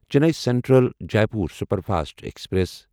Chennai central Jaipur superfast express